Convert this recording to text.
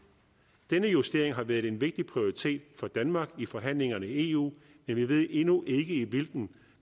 denne justering har været en vigtig prioritet for danmark i forhandlingerne i eu men vi ved endnu ikke i hvilken